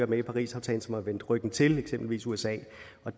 med i parisaftalen som har vendt ryggen til den eksempelvis usa